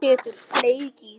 Settur fleki í dyrnar.